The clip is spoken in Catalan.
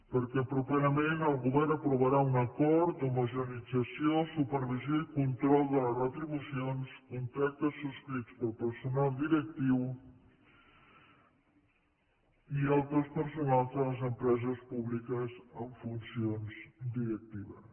perquè properament el govern aprovarà un acord d’homogeneïtzació supervisió i control de les retribucions contractes subscrits pel personal directiu i altres personals de les empreses públiques amb funcions directives